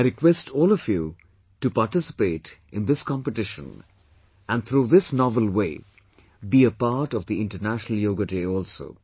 I request all of you too participate in this competition, and through this novel way, be a part of the International Yoga Day also